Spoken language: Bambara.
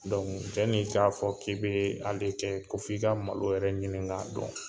yanni i k'a fɔ k'i bɛ ale kɛ ko f'i ka malo wɛrɛ ɲinin k'a dɔn